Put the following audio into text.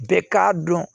Bɛɛ k'a dɔn